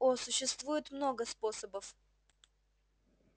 о существует много способов